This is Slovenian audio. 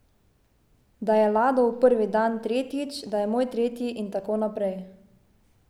Da je Ladov prvi dan, tretjič, da je moj tretji in tako naprej.